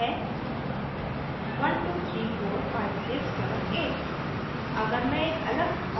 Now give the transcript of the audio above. मैंने इसमें लिखा है 12345678